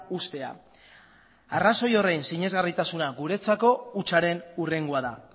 uztea arrazoi horren sinesgarritasuna guretzako hutsaren hurrengoa da